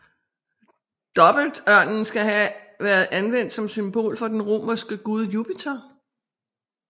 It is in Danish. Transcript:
Dobbeltørnen skal have været anvendt som symbol for den romerske gud Jupiter